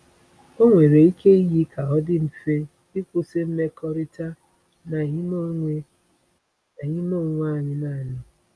Ọ nwere ike iyi ka ọ dị mfe ịkwụsị mmekọrịta na ime onwe na ime onwe anyị naanị.